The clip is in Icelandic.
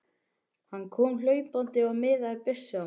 Hann kom hlaupandi og miðaði byssunni á mig.